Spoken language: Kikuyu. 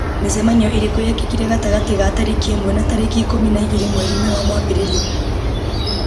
mĩcemanio ĩrĩkũ yekĩkire gatagatĩ ga tarĩki ĩmwe na tarĩki ikũmi na igĩrĩ mweri-inĩ wa mwambĩrĩrio